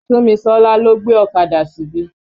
Súnmisọ́lá lọ́ gbé ọ̀kadà síbí.